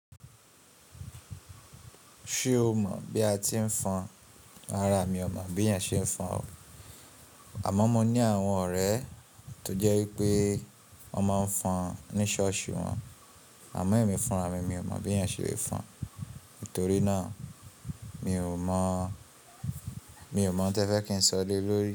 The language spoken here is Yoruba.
Ṣé o mọ̀ bí a ti ń fọn? Rara, mi ò mọ̀ bí ènìyàn ṣe ń fọn o. Àmọ́ mo ní àwọn ọ̀rẹ́ tó jẹ́ wípé wọ́n máa ń fọn ní ṣọ́ọ̀ṣì wọn. Àmọ́ ẹ̀mi fúnra mi, mi ò mọ̀ bí ènìyàn ṣe lè fọn. Nítorí náà mi ò mọ̀, mi ò n tí ẹ fẹ́ kí n sọ lé lórí.